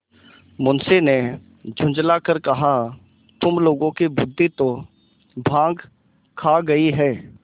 मुंशी ने झुँझला कर कहातुम लोगों की बुद्वि तो भॉँग खा गयी है